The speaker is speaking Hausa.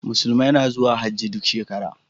Musulmi na zuwa Hajji duk shekara.